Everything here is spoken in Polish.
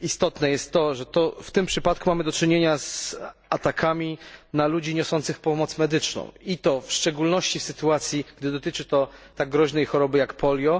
istotne jest to, że w tym przypadku mamy do czynienia z atakami na ludzi niosących pomoc medyczną, i to w szczególności w sytuacji, gdy dotyczy to tak groźnej choroby jak polio.